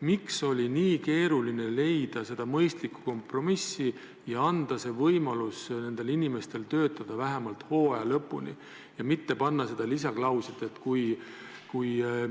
Miks oli nii keeruline leida mõistlikku kompromissi ja anda nendele inimestele võimalus töötada vähemalt hooaja lõpuni ja mitte panna lisaklauslit, et kui